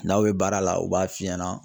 N'aw ye baara la u b'a f'i ɲɛna